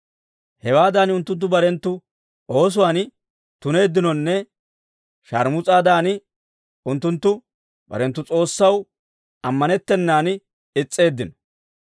Hewaadan unttunttu barenttu oosuwaan tuneeddinonne, sharmus'aadan unttunttu barenttu S'oossaw ammanettennan is's'eeddino.